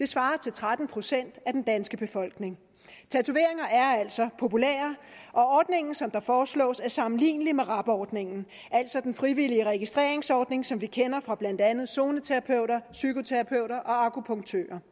svarer til tretten procent af den danske befolkning tatoveringer er altså populære og ordningen som foreslås er sammenlignelig med rab ordningen altså den frivillige registreringsordning som vi kender fra blandt andet zoneterapeuter psykoterapeuter og akupunktører